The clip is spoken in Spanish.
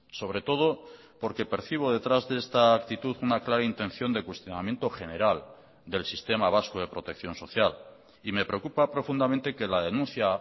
sobre todo porque percibo detrás de esta actitud una clara intención de cuestionamiento general del sistema vasco de protección social y me preocupa profundamente que la denuncia